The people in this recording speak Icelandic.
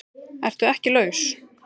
ERTU EKKI LAUS?